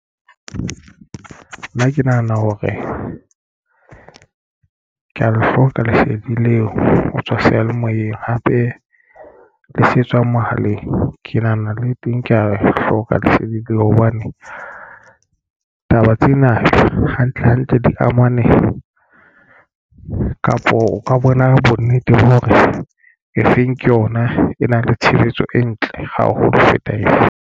Nna ke nahana hore ke ya le hloka lesedi leo ho tswa seyalemoyeng hape le se etswa mohaleng ke nahana le teng ke ya e hloka lesedi leo. Hobane taba tsena hantle hantle, di amane kapo o ka bona bonnete ba hore e feng ke yona e na le tshebetso e ntle haholo ho feta efe?